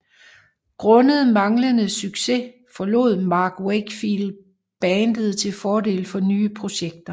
Grundet manglede succes forlod Mark Wakefield bandet til fordel for nye projekter